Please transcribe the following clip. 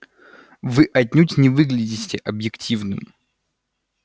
вы отнюдь не выглядите объективным